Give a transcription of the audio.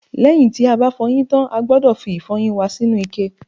lẹ́yìn tí a bá fọyín tán, a gbọ́dọ̀ fi ìfọyín wa sínú ike